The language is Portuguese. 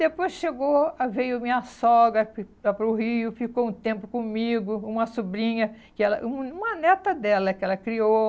Depois chegou a veio minha sogra para para o Rio, ficou um tempo comigo, uma sobrinha, e ela uma neta dela que ela criou.